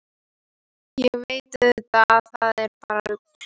Ég veit auðvitað að það er bara rugl.